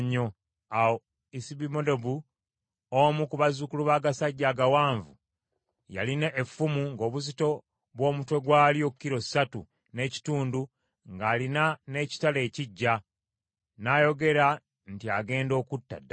Awo Isubibenobu omu ku bazzukulu b’agasajja agawanvu yalina effumu ng’obuzito bw’omutwe gw’alyo kilo ssatu n’ekitundu ng’alina n’ekitala ekiggya, n’ayogera nti agenda okutta Dawudi.